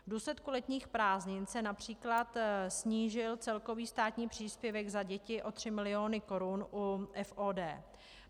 V důsledku letních prázdnin se například snížil celkový státní příspěvek za děti o 3 mil. korun u FOD.